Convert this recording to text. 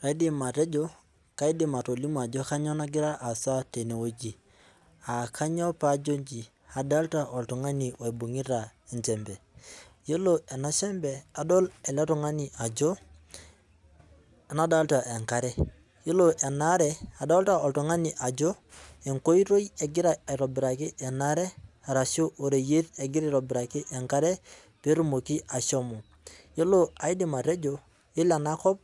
Kaidim atejio, kaidim atolimu ajo kainyoo nagira aasa teneweji ,aa kainyoo pee ajo inji ,adolita oltungani oibungita enchembe ,ore ena shembe adol eletungani ajo ,nadolita enkare ,adolita oltungani ajo enkoitoi egira aitobiraki ena aare orashu oreyiet egira aitobiraki enkare pee etumoki ashomo .yiolo aidim atejo naa yiolo ena kop